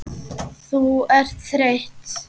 Þú ert þreytt.